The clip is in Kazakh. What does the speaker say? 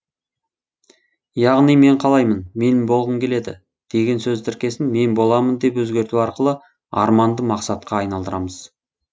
яғни мен қалаймын мен болғым келеді деген сөз тіркесін мен боламын деп өзгерту арқылы арманды мақсатқа айналдырамыз